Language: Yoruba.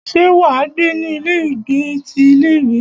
Ṣé wà á gbé ní ilé ìgbé ti ilé ìwé?